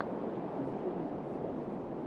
включи русскую классику